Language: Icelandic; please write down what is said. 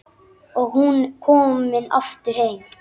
Og hún komin aftur heim.